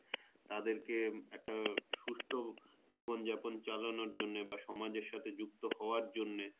তাদের কে একটা সুস্থ জীবন যাপন চালানোর জন্যে বা সমাজের সাথে যুক্ত হওয়ার জন্যে